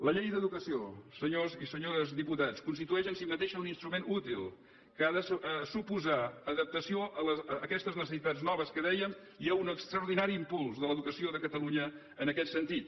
la llei d’educació senyors i senyores diputats constitueix en si mateixa un instrument útil que ha de suposar adaptació a aquestes necessitats noves que dèiem i un extraordinari impuls de l’educació de catalunya en aquest sentit